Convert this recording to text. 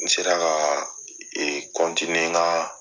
N sera ka n ka